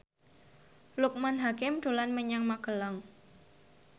Loekman Hakim dolan menyang Magelang